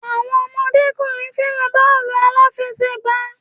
Àwọn ọmọdékùnrin fẹràn bọ́ọ̀lù aláfẹ̀sẹgbà.